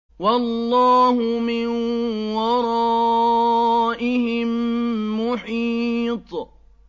وَاللَّهُ مِن وَرَائِهِم مُّحِيطٌ